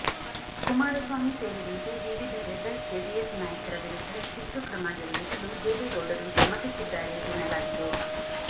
ಕುಮಾರಸ್ವಾಮಿ ಸೇರಿದಂತೆ ವಿವಿಧ rebel JDS ನಾಯಕರ ವಿರುದ್ಧ ಶಿಸ್ತುಕ್ರಮ ಜರುಗಿಸಲು ದೇವೇಗೌಡರು ಸಮ್ಮತಿಸಿದ್ದಾರೆ ಎನ್ನಲಾಗಿದೆ